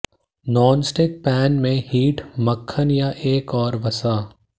nonstick pan में heat मक्खन या एक और वसा